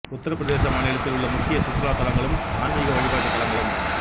உத்தரப் பிரதேச மாநிலத்தில் உள்ள முக்கிய சுற்றுலா தலங்களும் ஆன்மிக வழிபாட்டுத் தலங்களும்